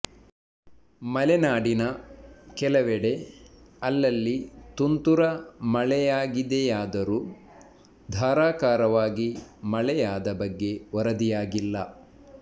ಮಲೆನಾಡಿನ ಕೆಲವೆಡೆ ಅಲ್ಲಲ್ಲಿ ತುಂತುರ ಮಳೆಯಾಗಿದೆಯಾದರೂ ಧಾರಾಕಾರವಾಗಿ ಮಳೆಯಾದ ಬಗ್ಗೆ ವರದಿಯಾಗಿಲ್ಲ